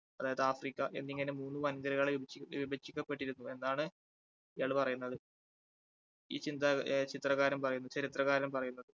അതായത് ആഫ്രിക്ക എന്നിങ്ങനെ മൂന്ന് വൻകരകളെ വിഭജി~വിഭജിക്കപ്പെട്ടിരുന്നു എന്നാണ് ഇയാൾ പറയുന്നത് ഈ ചിന്ത ഏ ചിത്രകാരൻ പറയുന്നു ചരിത്രകാരൻ പറയുന്നത്